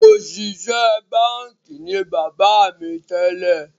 Òṣìṣẹ́ báńkì ni bàbá mi tẹ́lẹ̀